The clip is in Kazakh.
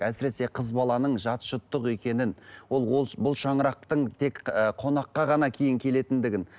әсіресе қыз баланың жат жұрттық екенін ол ол бұл шаңырақтың тек ыыы қонаққа ғана кейін келетідігін